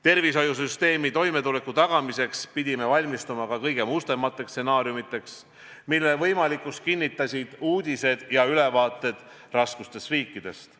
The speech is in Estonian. Tervishoiusüsteemi toimetuleku tagamiseks pidime valmistuma ka kõige mustemateks stsenaariumideks, mille võimalikkust kinnitasid uudised ja ülevaated raskustes riikidest.